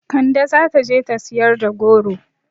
Kande zata je ta siyar da goro